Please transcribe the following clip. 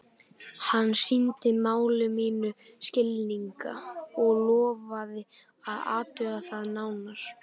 Hann sýndi máli mínu skilning og lofaði að athuga það nánar.